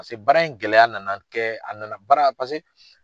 Paseke baara in gɛlɛya nana kɛ , a nana baara paseke